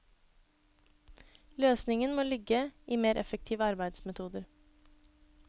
Løsningen må ligge i mer effektive arbeidsmetoder.